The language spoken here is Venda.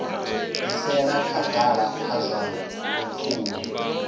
bvisela khagala kha zwa lupfumo